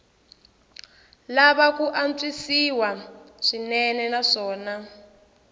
lava ku antswisiwa swinene naswona